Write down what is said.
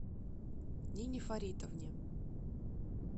нине фаритовне